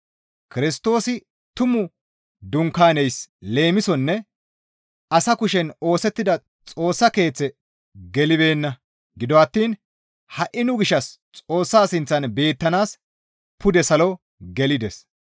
Kirstoosi tumu dunkaaneys leemisonne asa kushen oosettida Xoossa Keeththe gelibeenna; gido attiin ha7i nu gishshas Xoossa sinththan beettanaas pude salo gelides.